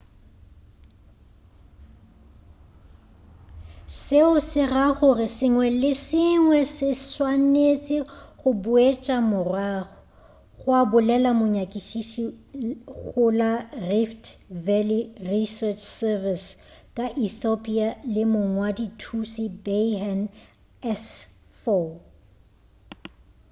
seo se ra gore se sengwe le se sengwe se swanetše go boetšwa morago gwa bolela monyakišiši go la rift valley research service ka ethiopia le mongwadi-thuši berhane asfaw